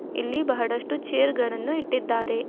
ಇಲ್ಲಿ ಬಹಳಷ್ಟು ಚೇರ್ ಗಳನ್ನು ಇಟ್ಟಿದ್ದಾರೆ.